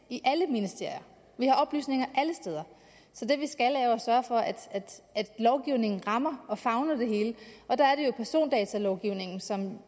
i alle ministerier vi har oplysninger alle steder så det vi skal er jo at sørge for at lovgivningen rammer og favner det hele og der er det jo persondatalovgivningen som